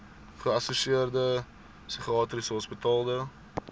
geassosieerde psigiatriese hospitale